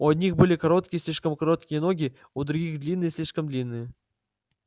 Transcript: у одних были короткие слишком короткие ноги у других длинные слишком длинные